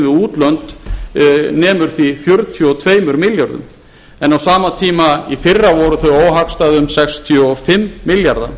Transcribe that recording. við útlönd nemur því fjörutíu og tveimur milljörðum en á sama tíma í fyrra voru þau óhagstæð um sextíu og fimm milljarða